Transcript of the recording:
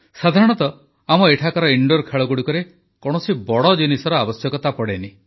ସାଧାରଣତଃ ଆମ ଏଠାକାର ଇନଡୋର୍ ଖେଳଗୁଡ଼ିକରେ କୌଣସି ବଡ଼ ଜିନିଷର ଆବଶ୍ୟକତା ପଡ଼େ ନାହିଁ